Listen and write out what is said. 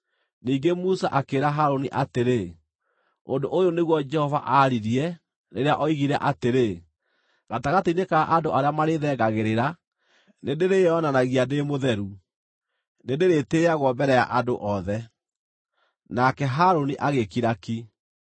Ningĩ Musa akĩĩra Harũni atĩrĩ, “Ũndũ ũyũ nĩguo Jehova aaririe, rĩrĩa oigire atĩrĩ: “ ‘Gatagatĩ-inĩ ka andũ arĩa marĩĩthengagĩrĩra, nĩndĩrĩĩonanagia ndĩ mũtheru; nĩndĩrĩtĩĩagwo mbere ya andũ othe.’ ” Nake Harũni agĩkira ki.